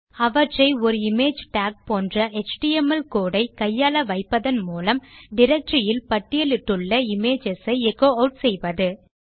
அவற்றை ஒரு image tag போன்ற எச்டிஎம்எல் கோடு ஐ கையாள வைப்பதன் மூலம் டைரக்டரி இல் பட்டியலிட்டுள்ள இமேஜஸ் ஐ எச்சோ ஆட் செய்வது